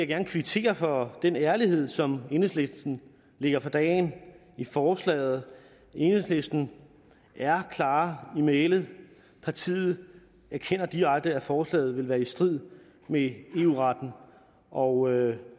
gerne kvittere for den ærlighed som enhedslisten lægger for dagen i forslaget enhedslisten er klar i mælet partiet erkender direkte at forslaget vil være i strid med eu retten og